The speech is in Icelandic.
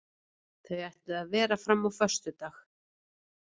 Þau ætluðu að vera fram á föstudag.